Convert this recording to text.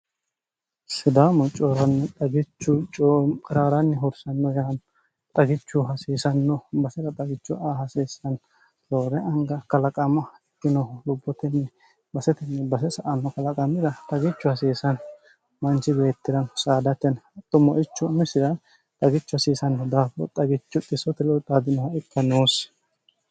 sidaamo cooranni dhagichu ciraaranni hursanno yaan xagichu hasiisanno masira xagichu a hasiissanni loore anga kalaqama ikkinohu lubbotenni basetinni base sa anno kalaqamira ragichu hasiisanno manchi beettirano saadateni hatto moichu misira xhagichu hasiisanno daafoo xagichu xisotilu xaatinoha ikka noossi